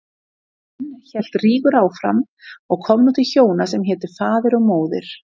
Enn hélt Rígur áfram og kom nú til hjóna sem hétu Faðir og Móðir.